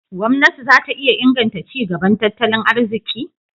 Gwamnati za ta iya inganta ci gaban tattalin arziki?